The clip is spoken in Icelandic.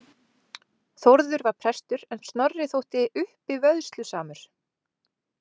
Þórður var prestur en Snorri þótti uppivöðslusamur.